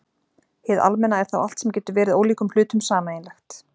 Hið almenna er þá allt sem getur verið ólíkum hlutum sameiginlegt.